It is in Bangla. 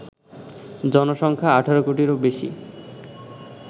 জনসংখ্যা: ১৮ কোটিরও বেশি